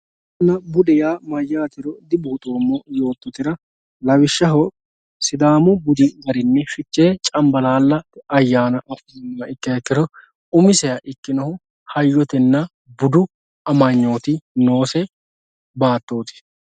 hayyonna bude yaa mayyaatero dibuuxoommo yoottotera lawishshaho sidaamu budi garinni fichee cambalaalla ayyaana adhinummoha ikkiro umiseha ikkinohu hayyotenna budu amanyooti noose baattooti